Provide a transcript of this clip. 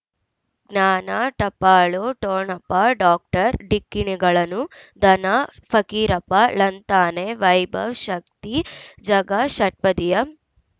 ಜ್ಞಾನ ಟಪಾಲು ಠೊಣಪ ಡಾಕ್ಟರ್ ಢಿಕ್ಕಿ ಣಗಳನು ಧನ ಫಕೀರಪ್ಪ ಳಂತಾನೆ ವೈಭವ್ ಶಕ್ತಿ ಝಗಾ ಷಟ್ಪದಿಯ